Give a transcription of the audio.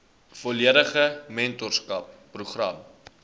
volledige mentorskap program